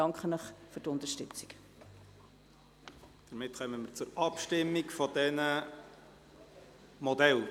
Damit kommen wir zur Abstimmung über die Modelle.